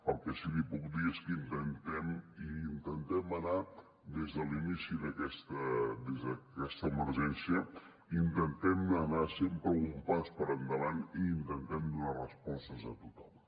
el que sí que li puc dir és que intentem anar des de l’inici d’aquesta emergència sempre un pas per endavant i intentem donar respostes a tothom